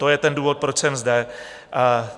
To je ten důvod, proč jsem zde.